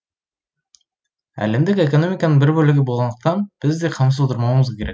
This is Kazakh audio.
әлемдік экономиканың бір бөлігі болғандықтан біз де қамсыз отырмауымыз керек